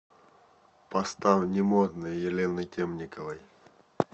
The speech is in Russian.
поставь не модные елены темниковой